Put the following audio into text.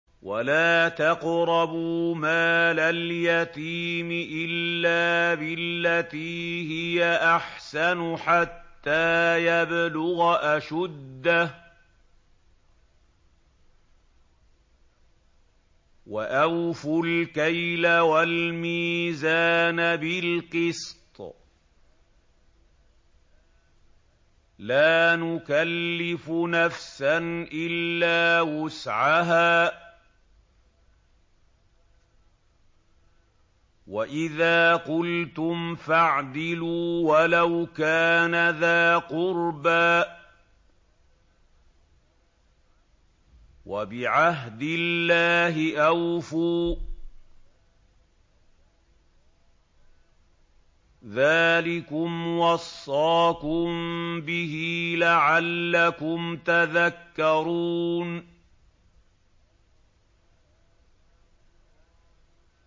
وَلَا تَقْرَبُوا مَالَ الْيَتِيمِ إِلَّا بِالَّتِي هِيَ أَحْسَنُ حَتَّىٰ يَبْلُغَ أَشُدَّهُ ۖ وَأَوْفُوا الْكَيْلَ وَالْمِيزَانَ بِالْقِسْطِ ۖ لَا نُكَلِّفُ نَفْسًا إِلَّا وُسْعَهَا ۖ وَإِذَا قُلْتُمْ فَاعْدِلُوا وَلَوْ كَانَ ذَا قُرْبَىٰ ۖ وَبِعَهْدِ اللَّهِ أَوْفُوا ۚ ذَٰلِكُمْ وَصَّاكُم بِهِ لَعَلَّكُمْ تَذَكَّرُونَ